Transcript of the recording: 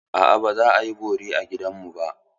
A'a, ba za a yi bori a gidanmu ba.